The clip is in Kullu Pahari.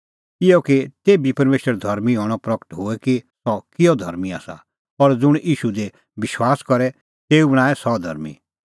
इहअ कि तेभी परमेशरे धर्मीं हणअ प्रगट होए कि सह किहअ धर्मीं आसा और ज़ुंण ईशू दी विश्वास करे तेऊ बी बणांए सह धर्मीं